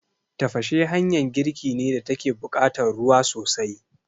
Tafashe hanyan girki ne da take buƙatan ruwa sosai